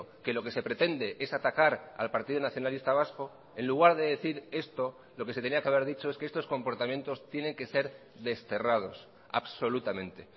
que lo que se pretende es atacar al partido nacionalista vasco en lugar de decir esto lo que se tenía que haber dicho es que estos comportamientos tienen que ser desterrados absolutamente